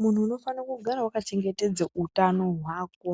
Muntu unofana kugara wakachebgetedze utano hwako.